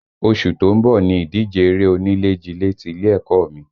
Oṣù tó ń bọ̀ ni ìdíje eré onílé jilé ti ilé ẹ̀kọ́ ọ mi